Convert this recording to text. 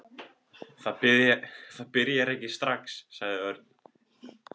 Það byrjar ekki strax, sagði Örn.